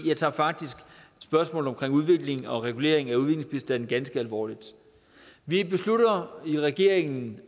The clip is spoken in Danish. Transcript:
jeg tager faktisk spørgsmålet om udvikling og regulering af udviklingsbistand ganske alvorligt vi har i regeringen